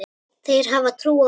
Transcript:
Þeir hafa trú á öllu.